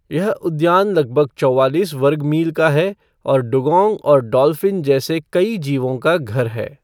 यह उद्यान लगभग चौवालीस वर्ग मील का है और डुगोंग और डॉल्फ़िन जैसे कई जीवों का घर है।